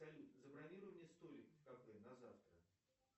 салют забронируй мне столик в кафе на завтра